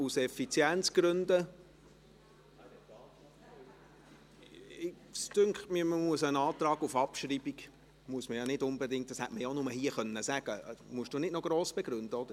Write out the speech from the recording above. Aus Effizienzgründen ...… Ein Antrag auf Abschreibung muss nicht unbedingt detailliert begründet werden, wie ich finde – oder?